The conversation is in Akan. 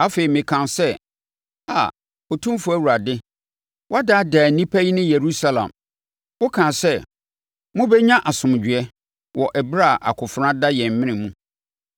Afei, mekaa sɛ, “Aa, Otumfoɔ Awurade, woadaadaa nnipa yi ne Yerusalem. Wokaa sɛ, ‘Mobɛnya asomdwoeɛ,’ wɔ ɛberɛ a akofena da yɛn mene mu.”